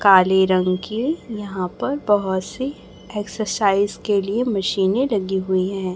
काले रंग की यहां प बहुत सी एक्सरसाइज के लिए मशीनें लगी हुई है।